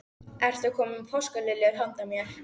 Ertu að koma með páskaliljur handa mér?